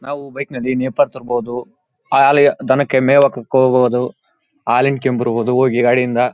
ನಾವು ಬೈಕ್ ನಲ್ಲಿ ನೇಪಾಳ ತನಕ ಹೋದ್ವು ಆ ಳಲ್ಲಿ ದನಕ್ಕೆ ಮೇವು ಹಾಕಕ್ಕೆ ಹೋಗೋದು ಹಾಲು ಹಿಂಡ್ ಕೊಂಡು ಬರ್ಬೋದು ಗಾಡಿಯಿಂದ.